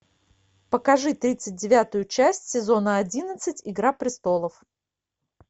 покажи тридцать девятую часть сезона одиннадцать игра престолов